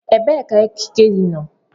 Ebee ka ekike gị nọ?